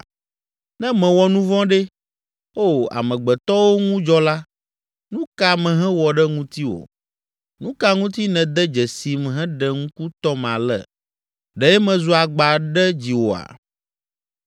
Ne mewɔ nu vɔ̃ ɖe, O amegbetɔwo ŋu dzɔla, nu ka mehewɔ ɖe ŋutiwò? Nu ka ŋuti nède dzesim heɖe ŋku tɔm ale? Ɖe mezu agba ɖe dziwòa?